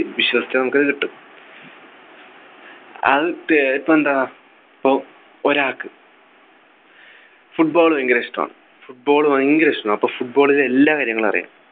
വിശ്വസിച്ച നമുക്കത് കിട്ടും അത് ഏർ ഇപ്പൊ എന്താ പ്പോ ഒരാൾക്ക് Football ഭയങ്കര ഇഷ്ടമാണ് Football ഭയങ്കര ഇഷ്ടമാണ് അപ്പൊ Football ലെ എല്ലാ കാര്യങ്ങളും അറിയാം